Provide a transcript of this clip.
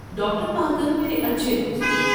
Doctor Parker میرے اچھے دوست ہیں۔